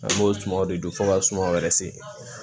An b'o sumanw de don fo ka sumanw yɛrɛ se